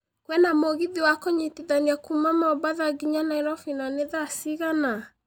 kwĩna mũgithi wa kũnyitithania kuuma mombatha nginya nairobi na nĩ thaa cigana